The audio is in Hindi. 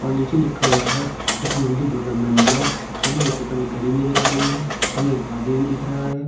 और नीचे लिखा हुआ है खुशमंडी डेवलपमेंट ब्लॉक हमें एक ऊपर एक घड़ी नजर आ रही है हमें एक आदमी भी दिख रहा है।